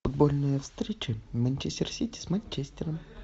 футбольная встреча манчестер сити с манчестером